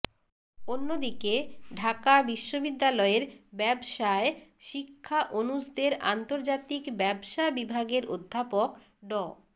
অন্যদিকে ঢাকা বিশ্ববিদ্যালয়ের ব্যবসায় শিক্ষা অনুষদের আন্তর্জাতিক ব্যবসা বিভাগের অধ্যাপক ড